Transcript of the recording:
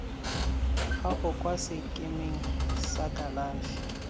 gago kwa sekemeng sa kalafi